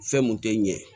Fɛn mun tɛ ɲɛ